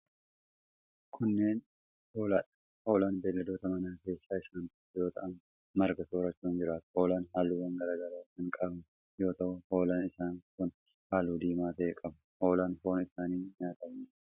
Kunneen ,hoolaa dha. Hoolaan beeyiladoota manaa keessaa isaan tokko yoo ta'an, marga soorachuun jiraatu. Hoolaan haalluuwwan garaa garaa kan qaban yoo ta'u, hoolaan isaan kun haalluu diimaa ta'e qabu. Hoolaan foon isaanii nyaataf ni oola.